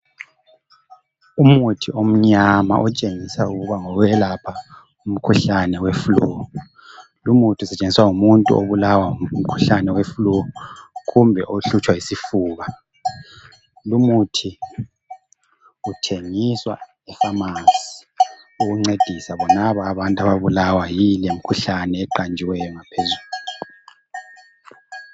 Umuthi omnyama otshengisa ukuba ngowokwelapha umkhuhlane weflu. Lumuthi usetshenziswa ngumuntu obulawa ngumkhuhlane weflu kumbe ohlutshwa yisifuba. Lumuthi uthengiswa epharmacy ukuncedisa bonaba abantu ababulawa yile mikhuhlane eqanjiweyo ngaphezulu